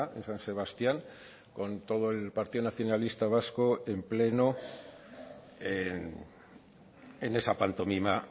en san sebastián con todo el partido nacionalista vasco en pleno en esa pantomima